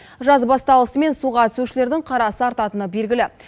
жаз басталысымен суға түсушілердің қарасы артатыны белгілі